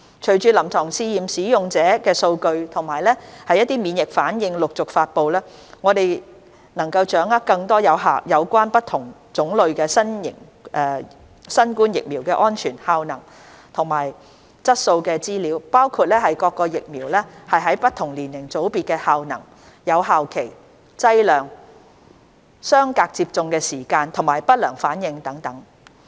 隨着臨床試驗的使用者數據及免疫反應陸續發布，我們能掌握更多有關不同種類新冠疫苗的安全、效能及質素資料，包括各疫苗在不同年齡組別的效能、有效期、劑量、相隔接種的時間及不良反應等。